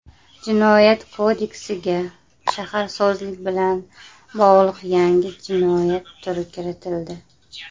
Jinoyat kodeksiga shaharsozlik bilan bog‘liq yangi jinoyat turi kiritildi.